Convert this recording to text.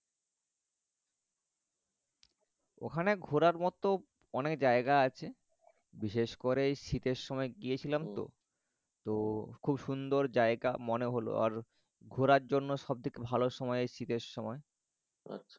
ওখানে ঘোরার মত অনেক জায়গা আছে। বিশেষ করে শীতের সময় গিয়েছিলাম তো তো খুব সুন্দর জায়গা মনে হল। ঘোরার জন্য সবথেকে ভালো সময় শীতের সময়।